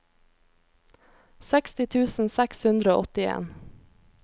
seksti tusen seks hundre og åttien